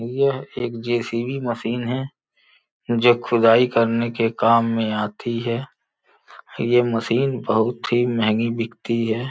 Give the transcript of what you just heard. यह एक JCB machine है जो खुदाई करने के काम में आती है यह मशीन बहुत ही महंगी बिकती है।